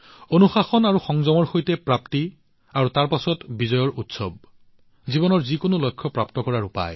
অনুশাসন আৰু সংযমৰ সৈতে প্ৰাপ্তি আৰু তাৰ পিছত বিজয়ৰ উৎসৱ হৈছে জীৱনৰ যিকোনো লক্ষ্যত উপনীত হোৱাৰ উপায়